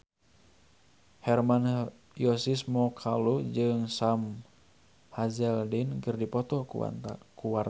Hermann Josis Mokalu jeung Sam Hazeldine keur dipoto ku wartawan